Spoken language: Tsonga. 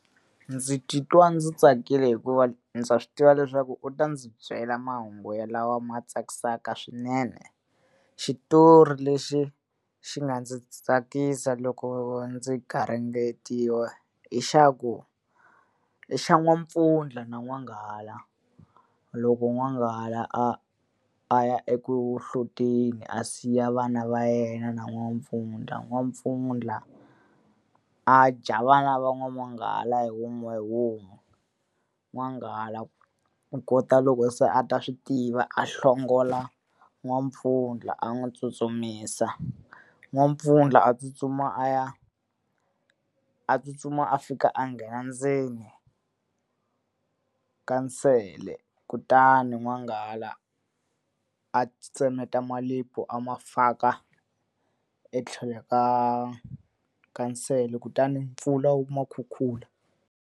Ndzi titwa ndzi tsakile hikuva ndza swi tiva leswaku u ta ndzi byela mahungu lawa ma tsakisaka swinene. Xitori lexi xi nga ndzi tsakisa loko ndzi garingetiwa i xa ku, xa n'wampfundla na n'wanghala. Loko n'wanghala a a ya eku hloteni a siya vana va yena na n'wampfundla, n'wampfundla a dya a vana va n'wanghala hi wun'we hi wun'we. N'wanghala ku kota loko se a ta swi tiva, a hlongola n'wampfundla a n'wi tsutsumisa. N'wampfundla a tsutsuma a ya a tsutsuma a fika a nghena ka nsele, kutani n'wanghala a ti tsemeta malevhu a ma faka etlhelo ka nsele. Kutani mpfula wu ma khukhula.